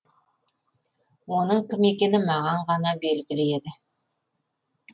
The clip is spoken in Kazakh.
оның кім екені маған ғана белгілі еді